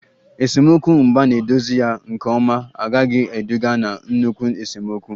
Esemokwu mgbe a na-edozi ya nke ọma agaghị eduga na nnukwu esemokwu